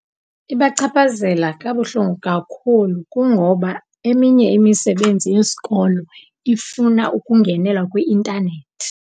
Ibachaphazela kabuhlungu kakhulu kungoba eminye imisebenzi yesikolo ifuna ukungenelwa kwi-intanethi.